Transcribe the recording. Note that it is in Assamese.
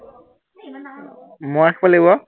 মই ৰাখিব লাগিব আৰু।